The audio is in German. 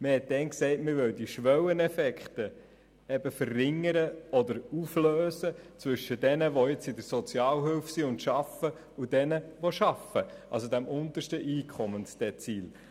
Man hat damals gesagt, man würde Schwelleneffekte zwischen denjenigen verringern oder auflösen, die jetzt in der Sozialhilfe sind und arbeiten, und denjenigen, die «nur» arbeiten, also dem untersten Einkommensdezil.